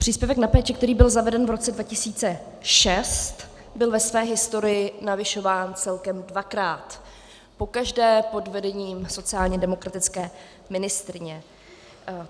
Příspěvek na péči, který byl zaveden v roce 2006, byl ve své historii navyšován celkem dvakrát, pokaždé pod vedením sociálně demokratické ministryně.